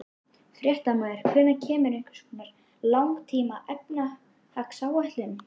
Fréttamaður: Hvenær kemur einhvers konar langtíma efnahagsáætlun?